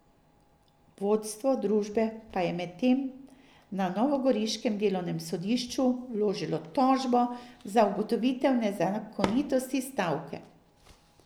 Vodstvo družbe pa je medtem na novogoriškem delovnem sodišču vložilo tožbo za ugotovitev nezakonitosti stavke.